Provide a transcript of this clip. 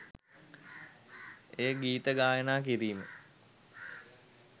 එය ගීත ගායනා කිරීම